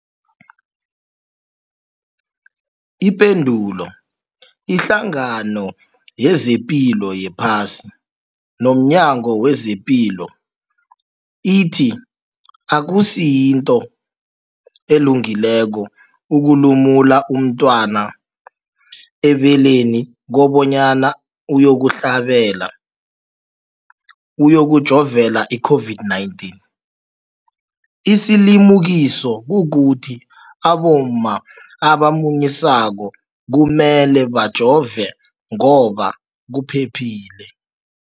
Ipendulo, iHlangano yezePilo yePhasi nomNyango wezePilo ithi akusinto elungileko ukulumula umntwana ebeleni kobanyana uyokuhlabela, uyokujovela i-COVID-19. Isilimukiso kukuthi abomma abamunyisako kumele bajove ngoba kuphephile.